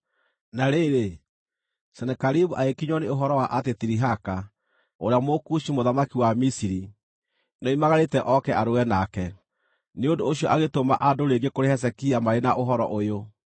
Na rĩrĩ, Senakeribu agĩkinyĩrwo nĩ ũhoro wa atĩ Tirihaka, ũrĩa Mũkushi mũthamaki wa Misiri, nĩoimagarĩte oke arũe nake. Nĩ ũndũ ũcio agĩtũma andũ rĩngĩ kũrĩ Hezekia marĩ na ũhoro ũyũ: